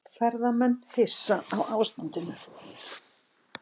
Ferðamenn hissa á ástandinu